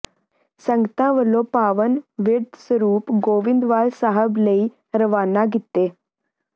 ਸੰਗਤਾਂ ਵਲੋਂ ਪਾਵਨ ਬਿਰਧ ਸਰੂਪ ਗੋਇੰਦਵਾਲ ਸਾਹਿਬ ਲਈ ਰਵਾਨਾ ਕੀਤੇ